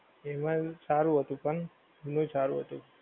એમાંય સારું હતું પણ ઘણુંય સારું હતું.